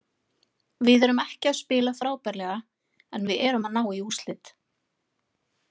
Við erum ekki að spila frábærlega en við erum að ná í úrslit.